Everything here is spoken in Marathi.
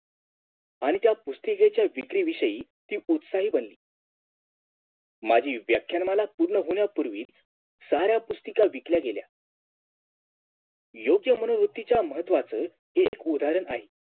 आणि त्या पुस्तिकेच्या विक्री विषयी ती उत्साही बनली माजी व्याख्यानमाला पूर्ण होण्या पूर्वी साऱ्या पुस्तिका विकल्या गेल्या योग्य मनोवृत्तीच्या महत्वाचं ते एक उदाहरण आहे